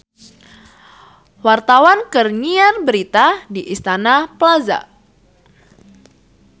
Wartawan keur nyiar berita di Istana Plaza